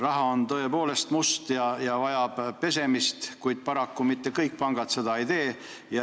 Raha on tõepoolest must ja vajab pesemist, paraku mitte kõik pangad seda ei tee.